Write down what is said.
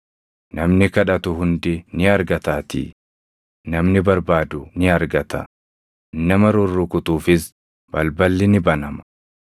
Namni kadhatu hundi ni argataatii; namni barbaadu ni argata; nama rurrukutuufis balballi ni banama.